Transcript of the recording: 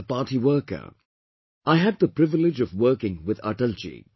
As a party worker I had the privilege of working with Atalji